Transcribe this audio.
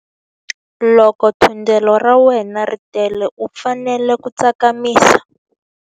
Loko thundelo ra wena ri tele u fanele ku tsakamisa.